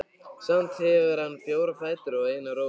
Samt hefur hann fjóra fætur og eina rófu.